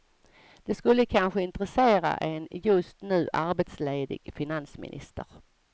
Det skulle kanske intressera en just nu arbetsledig finansminister.